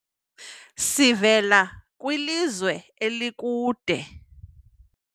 sivela kwilizwe elikude